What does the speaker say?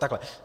Takhle.